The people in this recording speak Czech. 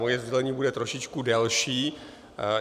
Moje sdělení bude trošičku delší.